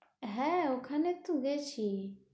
হ্যাঁ, ওখানে তো গেছি।